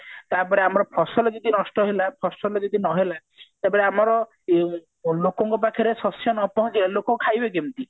ତାପରେ ଆମର ଫସଲ ଯଦି ନଷ୍ଟ ହେଲା ଫସଲ ଯଦି ନହେଲା ତାପରେ ଆମର ଉଁ ଲୋକଙ୍କ ପାଖରେ ଶସ୍ଯ ନ ପହଞ୍ଚିଲେ ଲୋକ ଖାଇବେ କେମତି